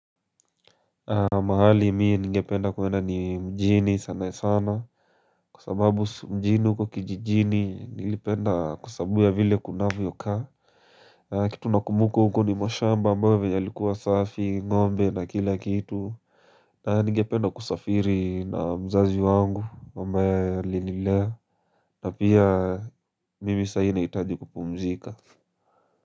Mahali mie ningependa kuenda ni mjini sana sana Kwa sababu mjini huko kijijini nilipenda kwasababu ya vile kunavyokaa Kitu nakumbuka huko ni mashamba ambayo yalikuwa safi ngombe na kila kitu na ningependa kusafiri na mzazi wangu ambaye alinilea na pia mimi sai nahitaji kupumzika.